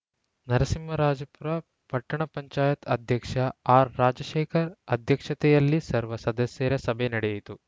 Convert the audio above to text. ನರಸಿಂಹರಾಜಪುರ ಪಟ್ಟಣ ಪಂಚಾಯತ್ ಅಧ್ಯಕ್ಷ ಆರ್‌ರಾಜಶೇಖರ್‌ ಅಧ್ಯಕ್ಷತೆಯಲ್ಲಿ ಸರ್ವ ಸದಸ್ಯರ ಸಭೆ ನಡೆಯಿತು